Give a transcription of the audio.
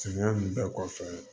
Samiya nunnu bɛɛ kɔfɛ